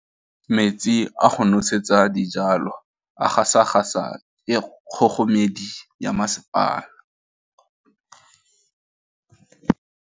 Metsi a go nosetsa dijalo a gasa gasa ke kgogomedi ya masepala.